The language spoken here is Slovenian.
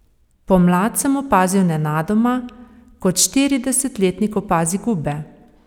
Pomlad sem opazil nenadoma, kot štiridesetletnik opazi gube.